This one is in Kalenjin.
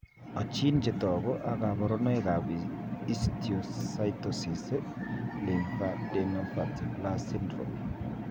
Achin chetogu ak kaborunoik ab Histiocytosis lymphadenopathy plus syndrome?